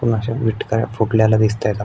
अन अशा विटकाऱ्य फोडलेल्या दिसताएत आप--